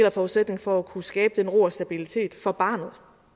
af forudsætningen for at kunne skabe den ro og stabilitet for barnet